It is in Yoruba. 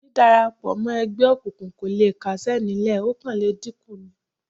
Dídárapọ̀ mọ́ ẹgbẹ́ òkùnkùn kò le kásẹ̀ nílẹ̀ ó kàn le dínkù ni